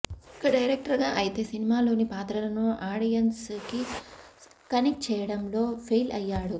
ఇక డైరెక్టర్ గా అయితే సినిమాలోని పాత్రలను ఆడియన్స్ కి కనెక్ట్ చెయ్యడంలో ఫెయిల్ అయ్యాడు